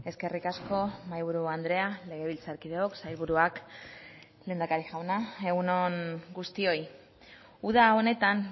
eskerrik asko mahaiburu andrea legebiltzarkideok sailburuak lehendakari jauna egun on guztioi uda honetan